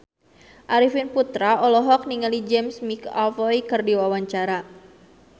Arifin Putra olohok ningali James McAvoy keur diwawancara